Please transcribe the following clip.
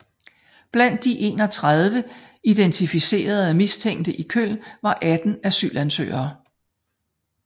Blandt de 31 identificerede mistænkte i Köln var 18 asylansøgere